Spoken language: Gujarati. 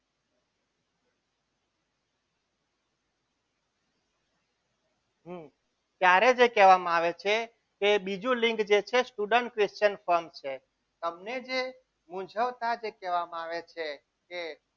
ત્યારે જે કહેવામાં આવે છે કે બીજું જે લિંક છે તે student question form છે તમને જે મૂંઝવતા જે કહેવામાં આવે છે કે